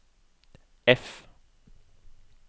F